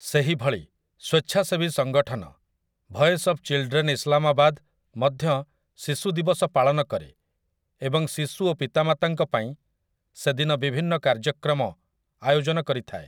ସେହିଭଳି, ସ୍ୱେଚ୍ଛାସେବୀ ସଙ୍ଗଠନ, 'ଭଏସ୍ ଅଫ୍ ଚିଲଡ୍ରେନ ଇସଲାମାବାଦ', ମଧ୍ୟ ଶିଶୁ ଦିବସ ପାଳନ କରେ ଏବଂ ଶିଶୁ ଓ ପିତାମାତାଙ୍କ ପାଇଁ ସେଦିନ ବିଭିନ୍ନ କାର୍ଯ୍ୟକ୍ରମ ଆୟୋଜନ କରିଥାଏ ।